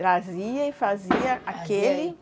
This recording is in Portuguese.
Trazia e fazia aquele.